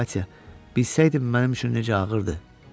Katya bilsəydim mənim üçün necə ağırdı.